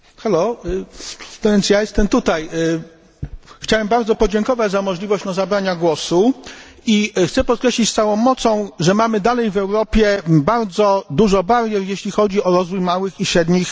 Więc ja jestem tutaj. Chciałem bardzo podziękować za możliwość zabrania głosu i chcę podkreślić z całą mocą, że mamy dalej w Europie bardzo dużo barier, jeśli chodzi o rozwój małych i średnich przedsiębiorstw.